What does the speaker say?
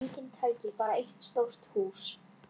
Og svo buðu þeir okkur til sín.